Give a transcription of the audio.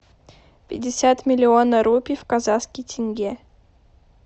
пятьдесят миллионов рупий в казахский тенге